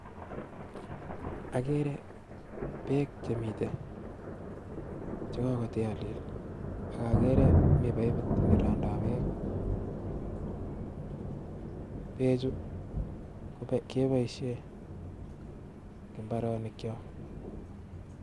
Okere Beek chemiten cheobwote olee, okokere mii paipit nerongdo beek, bechu keboishen en imbaronikyok.